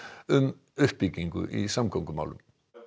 um uppbyggingu í samgöngumálum